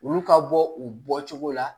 Olu ka bɔ u bɔcogo la